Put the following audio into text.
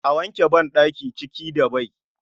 A wanke badaki ciki da bai